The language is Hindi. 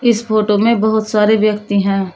इस फोटो में बहुत सारे व्यक्ति हैं।